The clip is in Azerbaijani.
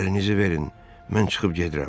Əlinizi verin, mən çıxıb gedirəm.